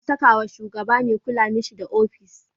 Ana sakawa sugaba me kula mishi da ofishi